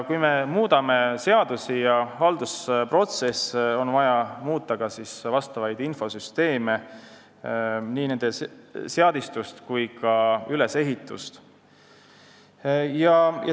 Kui me muudame seadusi ja haldusprotsesse, on vaja muuta ka vastavaid infosüsteeme, nii nende seadistust kui ka ülesehitust.